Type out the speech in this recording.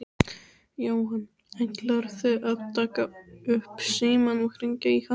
Jóhann: Ætlarðu að taka upp símann og hringja í hana?